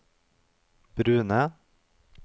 brune